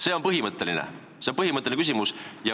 See on põhimõtteline küsimus.